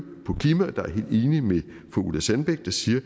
på ulla sandbæk der siger at